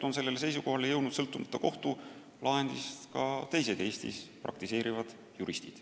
Sellele seisukohale on sõltumata kohtulahendist jõudnud ka teised Eestis praktiseerivad juristid.